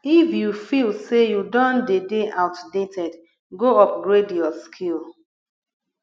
if you feel say you don de dey outdated go upgrade your skill